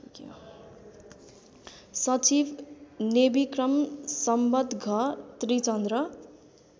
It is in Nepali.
सचिब नेविक्रम सम्वतघ त्रिचन्द्र